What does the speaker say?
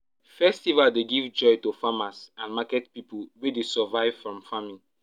festival dey give joy to farmers and market people wey dey survive from farming